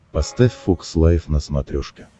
поставь фокс лайф на смотрешке